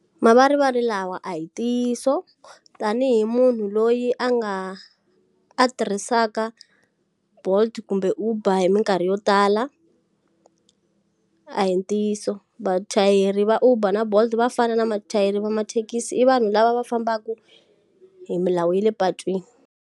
Mavarivari lawa a hi ntiyiso. Tanihi munhu loyi a nga a tirhisaka Bolt kumbe Uber minkarhi yo tala, a hi ntiyiso. Vachayeri va Uber na Bolt va fana na vachayeri va mathekisi i vanhu lava va fambaka hi milawu ya le patwini.